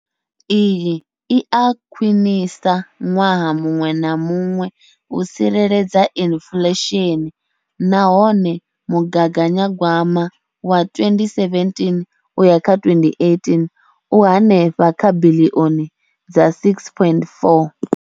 Iyi i a khwiniswa ṅwaha muṅwe na muṅwe u tsireledza inflesheni nahone mugaganya gwama wa 2017 uya kha 2018 u henefha kha biḽioni dza R6.4.